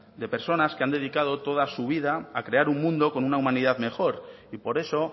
de personas que han dedicado toda su vida a crear un mundo con una humanidad mejor y por eso